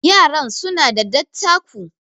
yaran suna da dattako